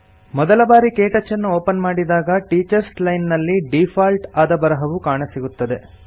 ಮೊದಲಬಾರಿ ಕೆಟಚ್ಚನ್ನು ಒಪನ್ ಮಾಡಿದಾಗ ಟೀಚರ್ಸ್ ಲೈನ್ ನಲ್ಲಿ ಡೀಫಾಲ್ಟ್ ಆದ ಬರಹವು ಕಾಣಸಿಗುತ್ತದೆ